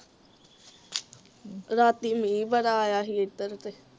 ਰਾਤੀਂ ਮੀਂਹ ਬੜਾ ਆਇਆ ਸੀ ਏਧਰ ਤੇ